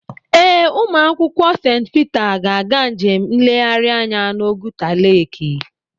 Ee, ụmụakwụkwọ St Peter ga-aga njem nleghari anya n'Oguta leki.